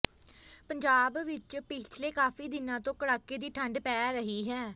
ਪੰਜਾਬ ਵਿੱਚ ਪਿਛਲੇ ਕਾਫੀ ਦਿਨਾਂ ਤੋਂ ਕੜਾਕੇ ਦੀ ਠੰਡ ਪੈ ਰਹੀ ਹੈ